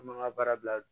An b'an ka baara bila